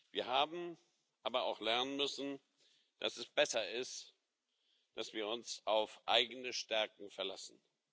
Wir haben aber auch lernen müssen, dass es besser ist, dass wir uns auf eigene Stärken verlassen.